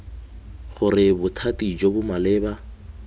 gore bothati jo bo maleba